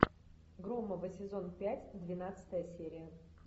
громовы сезон пять двенадцатая серия